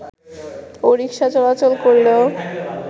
ও rickshaw চলাচল করলেও